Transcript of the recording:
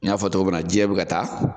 N y'a fɔ cogo mun na jiɲɛ be ka taa